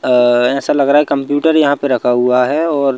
अ ऐसा लग रहा है कंप्यूटर यहां पे रखा हुआ है और--